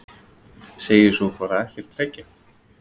Segist svo bara ekkert reykja!?!?